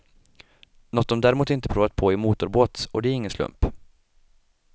Något de däremot inte provat på är motorbåt, och det är ingen slump.